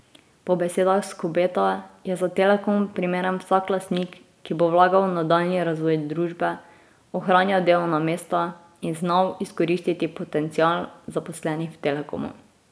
Po besedah Skobeta je za Telekom primeren vsak lastnik, ki bo vlagal v nadaljnji razvoj družbe, ohranjal delovna mesta in znal izkoristiti potencial zaposlenih v Telekomu.